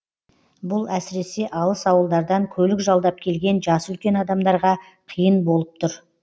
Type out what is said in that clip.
бұл әсіресе алыс ауылдардан көлік жалдап келген жасы үлкен адамдарға қиын болып тұр